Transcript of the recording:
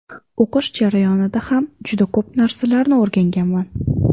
O‘qish jarayonida ham juda ko‘p narsalarni o‘rganganman.